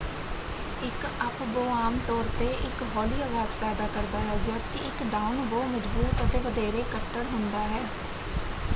ਇੱਕ ਅੱਪ-ਬੋਅ ਆਮ ਤੌਰ ‘ਤੇ ਇੱਕ ਹੌਲੀ ਆਵਾਜ਼ ਪੈਦਾ ਕਰਦਾ ਹੈ ਜਦ ਕਿ ਇੱਕ ਡਾਊਨ-ਬੋਅ ਮਜ਼ਬੂਤ ​​ਅਤੇ ਵਧੇਰੇ ਕੱਟੜ ਹੁੰਦਾ ਹੈ।